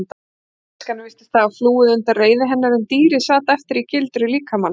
Mennskan virtist hafa flúið undan reiði hennar en dýrið sat eftir í gildru líkamans.